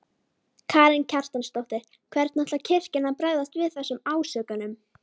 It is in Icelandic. Karen Kjartansdóttir: Hvernig ætlar kirkjan að bregðast við þessum ásökunum?